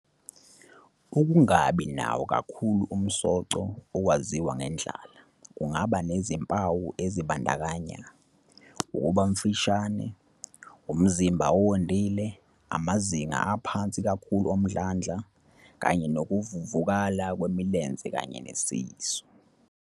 Ukungabi nawo kakhulu umsoco, okwaziwa ngendlala, kungaba nezimpawu ezibandakanya- ukuba mfishane, umzimba owondile, amazinga aphansi kakhulu omdlandla, kanye nokuvuvukala kwemilenze kanye nesisu.